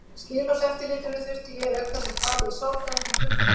Skilorðseftirlitinu þurfti ég auk þess að tala við sálfræðing í klukkutíma.